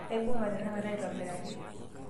aibungatenakata aitobiraki